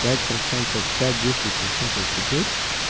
пять процентов пять десять процентов потерь